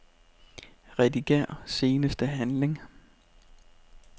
Rediger seneste handling.